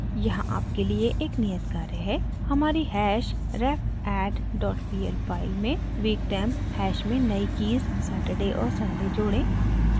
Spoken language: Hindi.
यहाँ आपके लिए एक नियत कार्य है हमारी hashrefadd dot pl file में weektemp हैश में नयी कीज़ saturday और sunday जोड़ें